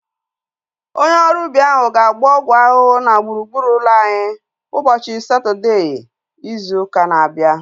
Onye ọrụ ubi ahu ga-agba ọgwụ ahụhụ na gburugburu ụlọ anyị ụbọchị Satọdee izu ụka na-abịa